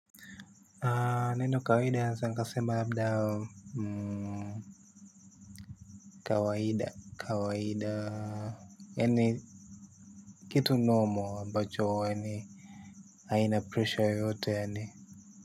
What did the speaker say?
Neno kawaida naweza nikasema labda. Kawaida kawaida. Yaani kitu normal ambacho yaani haina pressure yeyote yaani.